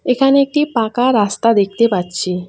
এখানে একটি পাকা রাস্তা দেখতে পাচ্ছি।